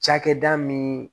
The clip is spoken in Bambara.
Cakɛda min